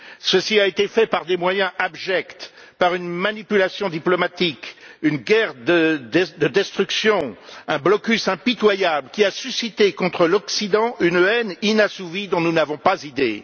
Ceci a été fait par des moyens abjects, par une manipulation diplomatique, une guerre de destruction, un blocus impitoyable qui a suscité contre l'Occident une haine inassouvie, dont nous n'avons pas idée.